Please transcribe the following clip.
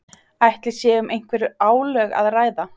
Ætli sé um einhver álög að ræða?